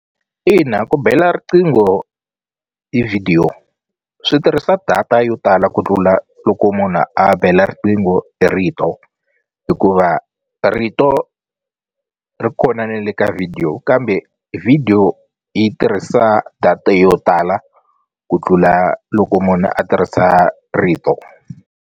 Ina ku bela riqingho hi vhidiyo swi tirhisa data yo tala ku tlula loko munhu a bela riqingho hi rito hikuva rito ri kona na le ka video kambe video yi tirhisa data yo tala ku tlula loko munhu a tirhisa rito.